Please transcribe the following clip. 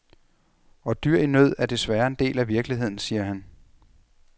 Og dyr i nød er desværre en del af virkeligheden, siger han.